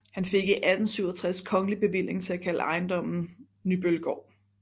Han fik i 1867 kongelig bevilling til at kalde ejendommen Nybøllegaard